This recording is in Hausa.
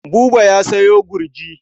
Buba ya sayo gurji.